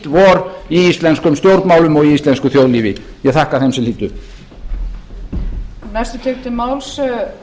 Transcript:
vor í íslenskum stjórnmálum og í íslensku þjóðlífi ég þakka þeim sem hlýddu